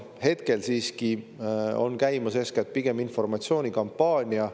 Hetkel siiski on käimas eeskätt pigem informatsioonikampaania.